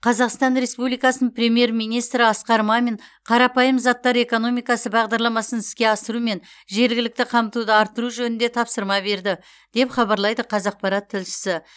қазақстан республикасының премьер министрі асқар мамин қарапайым заттар экономикасы бағдарламасын іске асыру мен жергілікті қамтуды арттыру жөнінде тапсырма берді деп хабарлайды қазақпарат тілшісі